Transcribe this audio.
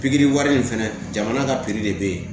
Pikiri wari in fɛnɛ jamana ka pikiri de bɛ ye